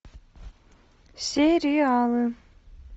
сериалы